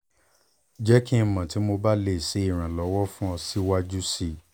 jẹ ki n mọ ti mo ba le ṣe iranlọwọ fun ọ siwaju sii sii